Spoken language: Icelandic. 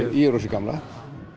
gamla